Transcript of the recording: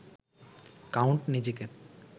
count নিজেকে